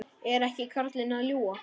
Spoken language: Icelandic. Er ekki karlinn að ljúga?